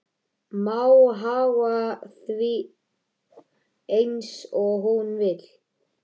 Má haga því eins og hún vill.